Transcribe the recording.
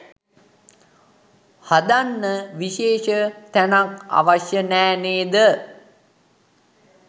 හදන්න විශේෂ තැනක් අවශ්‍ය නැ නේද?